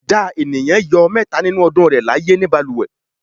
Ìdá ènìyàn yóò mẹhta nínú ọdún rẹ̀ láyé ní balùwẹ̀.